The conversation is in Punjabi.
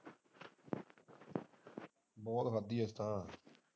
ਬਹੁਤ ਖਾਂਦੀ ਅਸੀਂ ਤਾ।